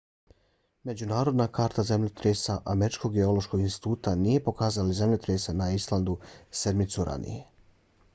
međunarodna karta zemljotresa američkog geološkog instituta nije pokazala zemljotrese na islandu sedmicu ranije